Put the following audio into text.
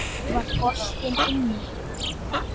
Var boltinn inni?